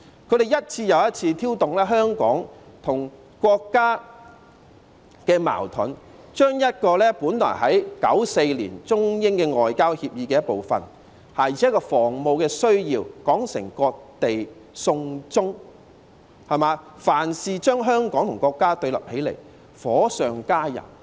他們一次又一次挑動香港與國家的矛盾，將本來在1994年中英外交協議的一部分，而且是有防務需要的安排說成"割地送中"，凡事將香港與國家對立起來，火上加油。